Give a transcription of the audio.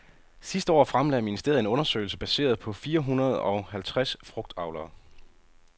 Sidste år fremlagde ministeret en undersøgelse baseret på fire hundrede og halvtres frugtavlere.